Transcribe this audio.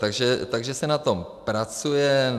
Takže se na tom pracuje.